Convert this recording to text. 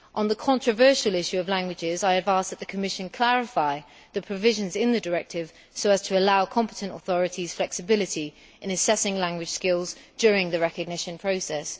On the controversial issue of languages, I have asked that the Commission clarify the provisions in the directive so as to allow competent authorities flexibility in assessing language skills during the recognition process.